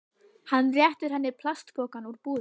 Hann réttir henni plastpokann úr búðinni.